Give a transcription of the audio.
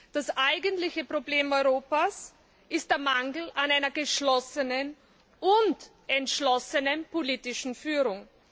Das eigentliche Problem Europas ist der Mangel an einer geschlossenen und entschlossenen politischen Führung.